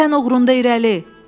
vətən uğrunda irəli!